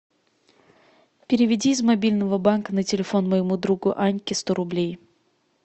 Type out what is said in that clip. переведи из мобильного банка на телефон моему другу аньке сто рублей